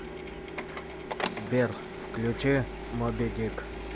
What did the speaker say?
сбер включи моби дик